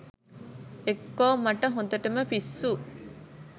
එක්කෝ මට හොඳටම පිස්සු